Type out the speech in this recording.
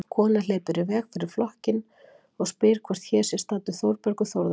Kona hleypur í veg fyrir flokkinn og spyr hvort hér sé staddur Þórbergur Þórðarson.